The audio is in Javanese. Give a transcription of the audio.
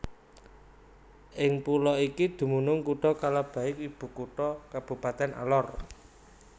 Ing pulo iki dumunung Kutha Kalabahi ibukutha Kabupatèn Alor